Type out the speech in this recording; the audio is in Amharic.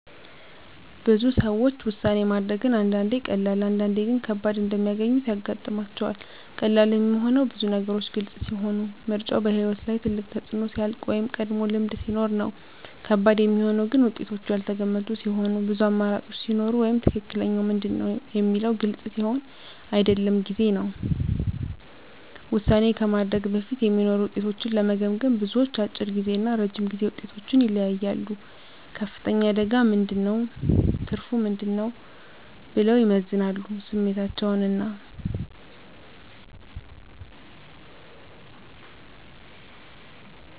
ብዙ ሰዎች ውሳኔ ማድረግን አንዳንዴ ቀላል፣ አንዳንዴ ግን ከባድ እንደሚያገኙት ያጋጥማቸዋል። ቀላል የሚሆነው ብዙ ነገሮች ግልጽ ሲሆኑ፣ ምርጫው በሕይወት ላይ ትልቅ ተፅዕኖ ሲያልቅ ወይም ቀድሞ ልምድ ሲኖር ነው። ከባድ የሚሆነው ግን ውጤቶቹ ያልተገመቱ ሲሆኑ፣ ብዙ አማራጮች ሲኖሩ ወይም “ትክክለኛው ምንድን ነው?” የሚለው ግልጽ ሲሆን አይደለም ጊዜ ነው። ውሳኔ ከማድረግ በፊት የሚኖሩ ውጤቶችን ለመገመገም፣ ብዙዎች፦ አጭር ጊዜ እና ረጅም ጊዜ ውጤቶችን ይለያያሉ “ከፍተኛ አደጋ ምን ነው? ትርፉ ምን ነው?” ብለው ይመዝናሉ ስሜታቸውን እና